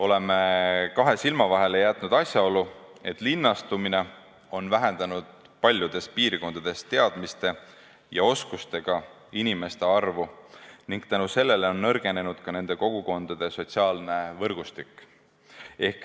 Oleme kahe silma vahele jätnud asjaolu, et linnastumine on vähendanud paljudes piirkondades teadmiste ja oskustega inimeste arvu ning seetõttu on nõrgenenud ka nende kogukondade sotsiaalne võrgustik.